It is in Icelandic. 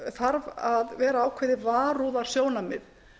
þarf að vera ákveðið varúðarsjónarmið